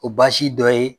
O baasi dɔ ye